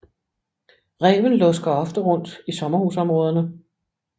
Ræven lusker ofte rundt i sommerhusområderne